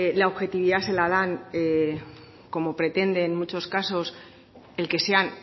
la objetividad se la dan como pretende en muchos casos el que sean